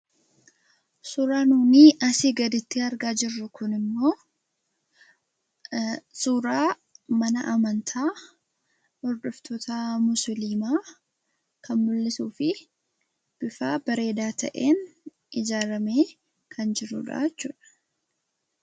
Suuraan nuyi asii gaditti argaa jirru kunii immoo, suuraa mana amantaa hordoftoota Musiliimaa kan mul'isuu fi bifa bareedaa ta'een ijaaramee kan jirudha jechuudha.